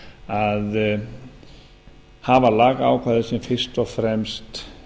að hafa lagaákvæði sem fyrst og fremst